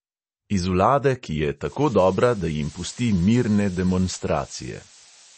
Iz vlade, ki je tako dobra, da jim pusti mirne demonstracije.